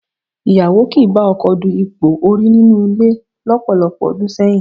Ìyàwó kì í bá ọkọ du ipò orí nínú ilé lọ́pọ̀lọpọ̀ ọdún sẹ́yìn